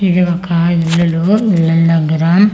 ఇది ఒక ఇల్లులో ఇల్లాల్ దెగ్గర అ--